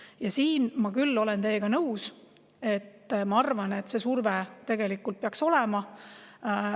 Ja siin ma küll olen teiega nõus, ma arvan, et see surve tegelikult peaks olema.